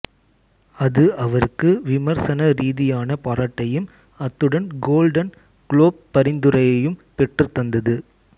அது அவருக்கு விமர்சன ரீதியான பாரட்டையும் அத்துடன் கோல்டன் குளோப் பரிந்துரையையும் பெற்றுத் தந்தது